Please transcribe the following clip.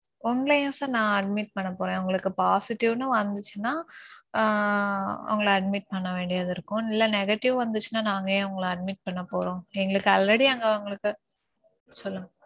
உங்கள ஏன் sir நான் admit பண்ணப்போறேன்? உங்களுக்கு positive னு வந்திச்சுனா ஆஹ் உங்கள admit பண்ண வேண்டியது இருக்கும். இல்ல negative வந்திச்சுனா நாங்க ஏன் உங்கள admit பண்ண போறோம். எங்களுக்கு already அங்க உங்களுக்கு சொல்லுங்க